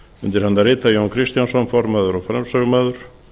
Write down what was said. undir hana rita jón kristjánsson formaður og framsögumaður